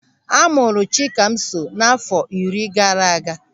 A mụrụ Chikamso n'àfọ́ iri gaara aga.